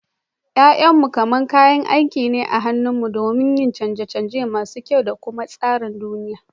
Ya'yanmu kamar kayan aiki ne a hannunmu don yin canje-canje masu kyau da kuma tsara duniya.